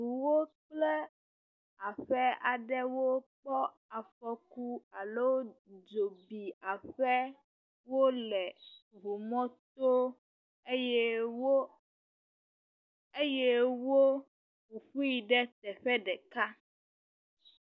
Ŋuwo kple aƒe aɖewo kpɔ afɔku alo dzo bi aƒewo le ŋumɔto eye wo, eye wo ƒoƒui ɖe teƒe ɖeka.